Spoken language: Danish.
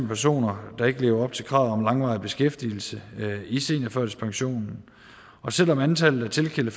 personer der ikke lever op til kravet om langvarig beskæftigelse i seniorførtidspensionen og selv om antallet af tilkendte